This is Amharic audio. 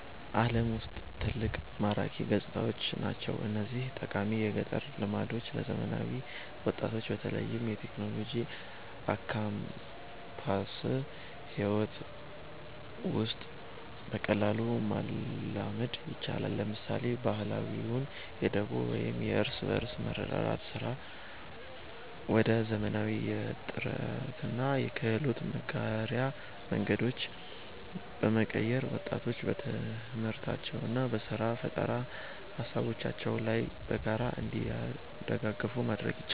ዓለም ውስጥ ትልቅ ማራኪ ገጽታዎች ናቸው። እነዚህን ጠቃሚ የገጠር ልማዶች ለዘመናዊ ወጣቶች በተለይም በቴክኖሎጂና በካምፓስ ሕይወት ውስጥ በቀላሉ ማላመድ ይቻላል። ለምሳሌ፣ ባህላዊውን የደቦ ወይም የእርስ በርስ መረዳዳት ሥርዓት ወደ ዘመናዊ የጥናትና የክህሎት መጋሪያ መድረኮች በመቀየር፣ ወጣቶች በትምህርታቸውና በሥራ ፈጠራ ሃሳቦቻቸው ላይ በጋራ እንዲደጋገፉ ማድረግ ይቻላል።